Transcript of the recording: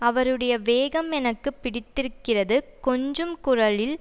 அவருடைய வேகம் எனக்கு பிடித்திருக்கிறது கொஞ்சும் குரலில்